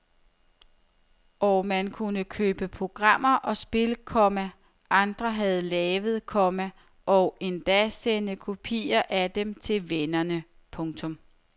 Og man kunne købe programmer og spil, komma andre havde lavet, komma og endda sende kopier af dem til vennerne. punktum